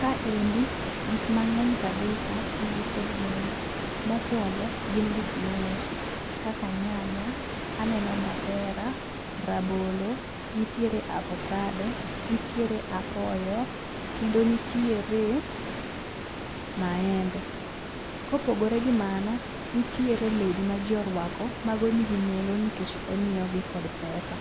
Kaendi gik mang'eny kabisa nigi kod nengo. Mokuongo gin gik miuso kaka nyanya, aneno mapera, rabolo, nitiere avokado, nitiere apoyo kendo nitiere maembe. Kopogore gi mano, nitiere lewni maji oruako. Mago nigi nengo nikech onyiewgi kod pesa.